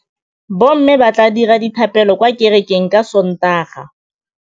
Bommê ba tla dira dithapêlô kwa kerekeng ka Sontaga.